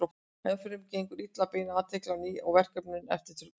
Enn fremur gengur illa að beina athyglinni á ný að verkefninu eftir truflun.